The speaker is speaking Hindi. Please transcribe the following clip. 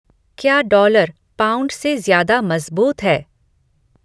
क्या डॉलर पाउंड से ज्यादा मजबूत है